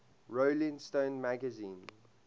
rolling stone magazine